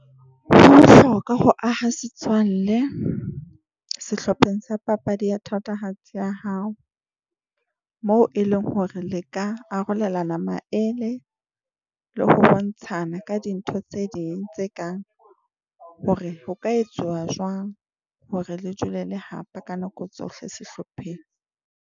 Ho bohloka ho aha setswalle sehlopheng sa papadi ya thatohatsi ya hao, moo e leng hore le ka arolelana maele le ho bontshana ka dintho tse ding tse kang hore ho ka etsuwa jwang hore le dule le hapa ka nako tsohle sehlopheng.